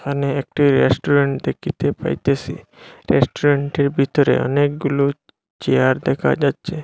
এখানে একটি রেস্টুরেন্ট দেখিতে পাইতেসি রেস্টুরেন্টের ভিতরে অনেকগুলো চেয়ার দেখা যাচ্ছে।